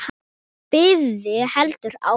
Biðin heldur áfram.